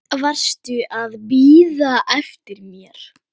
Varstu að bíða eftir mér?